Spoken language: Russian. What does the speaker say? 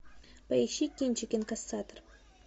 поищи кинчик инкассатор